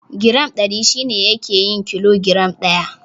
Giram Ɗari shi ne yake yin kilo giram ɗaya.